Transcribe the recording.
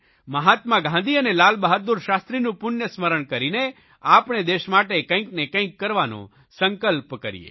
મહાત્મા ગાંધી અને લાલબહાદૂર શાસ્ત્રીનું પુણ્ય સ્મરણ કરીને આપણે દેશ માટે કંઇક ને કંઇક કરવાનો સંકલ્પ કરીએ